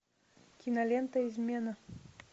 кинолента измена